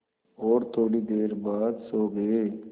और थोड़ी देर बाद सो गए